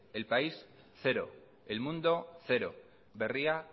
el país cero el mundo cero berria